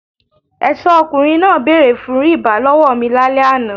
Ẹ̀ṣọ́ ọkùnrin náà bẹ̀rẹ̀ fún rìbá lọ́wọ́ mi lálẹ́ àná.